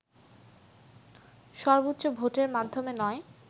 সর্বোচ্চ ভোটের মাধ্যমে নয়